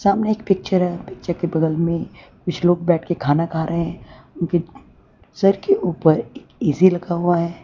सामने एक पिक्चर है पिक्चर के बगल में कुछलोग बैठ के खाना खा रहे हैं उनके सर के ऊपर एक ए_सी लगा हुआ है।